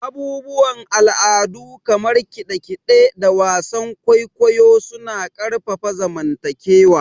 Abubuwan al'adu kamar kide-kide da wasan kwaikwayo suna ƙarfafa zamantakewa.